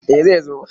Eh zai zo.